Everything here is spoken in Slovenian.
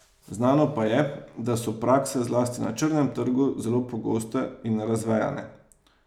Znano pa je, da so prakse zlasti na črnem trgu zelo pogoste in razvejane.